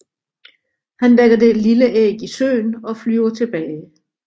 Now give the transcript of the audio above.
Han lægger det lille æg i søen og flyver tilbage